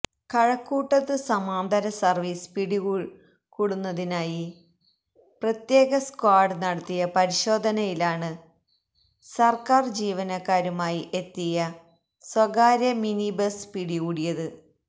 കഴക്കൂട്ടത്ത് സമാന്തര സർവീസ് പിടികൂടുന്നതിനായി പ്രത്യേക സ്ക്വാഡ് നടത്തിയ പരിശോധനയിലാണ് സർക്കാർ ജീവനക്കാരുമായി എത്തിയ സ്വകാര്യ മിനി ബസ് പിടികൂടിയത്